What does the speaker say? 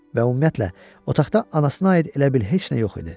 Və ümumiyyətlə, otaqda anasına aid elə bil heç nə yox idi.